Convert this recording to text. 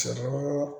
Sɛw